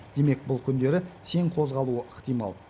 демек бұл күндері сең қозғалуы ықтимал